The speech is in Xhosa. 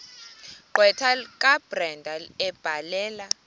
gqwetha kabrenda ebhalela